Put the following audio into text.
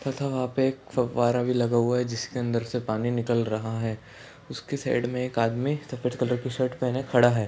था वह पे एक फव्वारा भी लगा हुआ हैं जिसके अंदर से पानी निकल रहा हैं उसके साइड में एक आदमी सफ़ेद कलर की शर्ट पहने खड़ा हैं।